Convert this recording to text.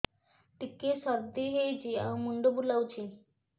ଟିକିଏ ସର୍ଦ୍ଦି ହେଇଚି ଆଉ ମୁଣ୍ଡ ବୁଲାଉଛି